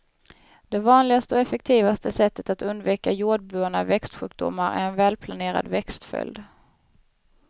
Det vanligaste och effektivaste sättet att undvika jordbundna växtsjukdomar är en välplanerad växtföljd.